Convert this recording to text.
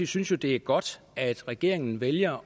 synes det er godt at regeringen vælger